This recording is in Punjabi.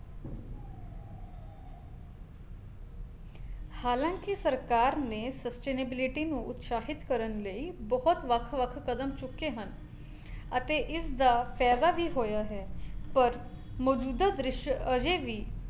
ਹਲਾਂਕਿ ਸਰਕਾਰ ਨੇ sustainability ਨੂੰ ਉਤਸ਼ਾਹਿਤ ਕਰਨ ਲਈ ਬਹੁਤ ਵੱਖ-ਵੱਖ ਕਦਮ ਚੁੱਕੇ ਹਨ ਅਤੇ ਇਸ ਦਾ ਫਾਇਦਾ ਵੀ ਹੋਇਆ ਹੈ ਪਰ ਮੌਜੂਦਾ ਦ੍ਰਿਸ਼ ਅਜੇ ਵੀ